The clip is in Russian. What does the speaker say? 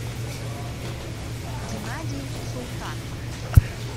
геннадий султанов